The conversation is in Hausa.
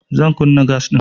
Zan kunna gas ɗin.